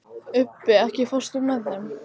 Ubbi, ekki fórstu með þeim?